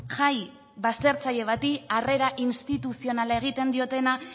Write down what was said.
jai baztertzaile bati harrera instituzional egiten diotena